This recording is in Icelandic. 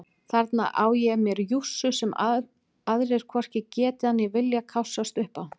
Þarna á ég mér jússu sem aðrir hvorki geta né vilja kássast upp á.